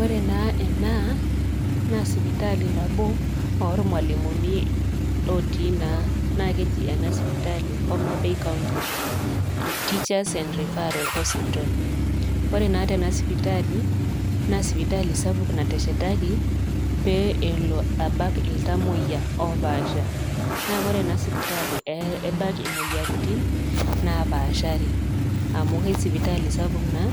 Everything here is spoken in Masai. Ore naa ena naa sipitali nabo olmwalimuni otii naa naa keji ena sipitali Homabay County Teachers and Referral Hospital. ore naa tena sipitali, naa sipitali nateshetaki pee elo abak iltamoyia opaasha. Naa ore ena sipitali naa ebak imoyiaritin napaashari amu sipitali sapuk naa